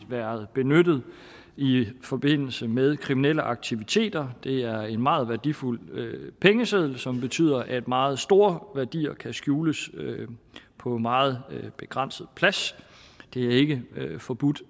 været benyttet i forbindelse med kriminelle aktiviteter det er en meget værdifuld pengeseddel som betyder at meget store værdier kan skjules på meget begrænset plads det er ikke forbudt